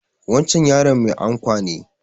Wancan yaron mai ankwa ne